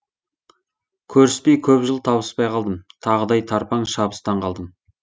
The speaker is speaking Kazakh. көріспей көп жыл табыспай қалдым тағыдай тарпаң шабыстан қалдым